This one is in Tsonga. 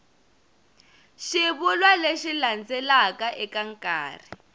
xivulwa lexi landzelaka eka nkarhi